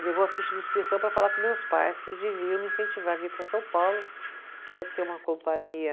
Levou a ficha de inscrição para falar com meus pais, que eles deviam me incentivar a vir para São Paulo, que ia ser uma companhia...